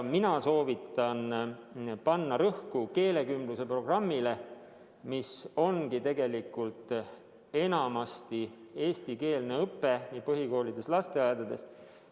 Mina soovitan panna rõhku keelekümbluse programmile, mis enamasti tegelikult ongi eestikeelne õpe nii põhikoolides kui ka lasteaedades.